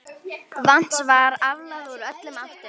Vatns var aflað úr öllum áttum.